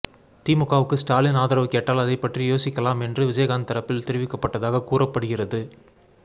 திமுகவுக்கு ஸ்டாலின் ஆதரவு கேட்டால் அதைப் பற்றி யோசிக்கலாம் என்று விஜயகாந்த் தரப்பில் தெரிவிக்கப்பட்டதாக கூறப்படுகிறது